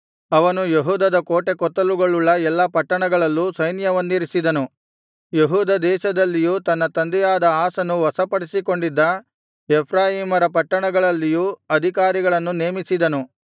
ಅವನು ಯೆಹೂದದ ಕೋಟೆಕೊತ್ತಲುಗಳುಳ್ಳ ಎಲ್ಲಾ ಪಟ್ಟಣಗಳಲ್ಲೂ ಸೈನ್ಯವನ್ನಿರಿಸಿದನು ಯೆಹೂದ ದೇಶದಲ್ಲಿಯೂ ತನ್ನ ತಂದೆಯಾದ ಆಸನು ವಶಪಡಿಸಿಕೊಂಡಿದ್ದ ಎಫ್ರಾಯೀಮ್ ರ ಪಟ್ಟಣಗಳಲ್ಲಿಯೂ ಅಧಿಕಾರಿಗಳನ್ನು ನೇಮಿಸಿದನು